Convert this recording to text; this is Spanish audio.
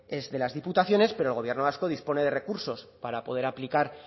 es de las diputaciones pero el gobierno vasco dispone de recursos para poder aplicar